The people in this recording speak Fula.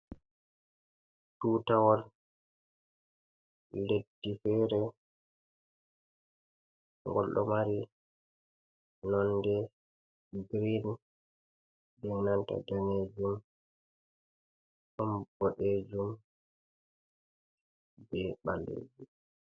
Tutawol leddi fere ngol ɗo mari nonde girin be nanta danejum, ɗon boɗejum be ɓalejum.